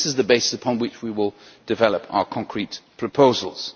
This is the basis upon which we will develop our concrete proposals.